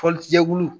Fɔli jɛkulu